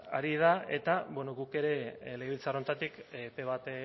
ari dira eta bueno guk ere legebiltzar honetatik epe bat